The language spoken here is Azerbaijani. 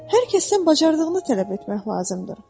Hər kəsdən bacardığını tələb etmək lazımdır.